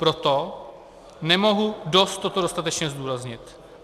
Proto nemohu dost toto dostatečně zdůraznit.